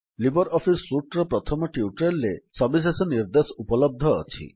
Libre Office suite ର ପ୍ରଥମ tutorial ରେ ସବିଶେଷ ନିର୍ଦ୍ଦେଶ ଉପଲବ୍ଧ ଅଛି